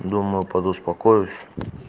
думаю подуспокоюсь